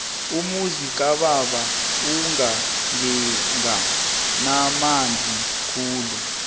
umuzi kababa ukagega namanzi khulu